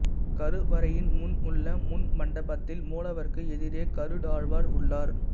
கருவறையின் முன் உள்ள முன் மண்டபத்தில் மூலவருக்கு எதிரே கருடாழ்வார் உள்ளார்